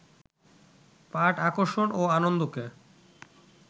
পাঠ আকর্ষণ ও আনন্দকে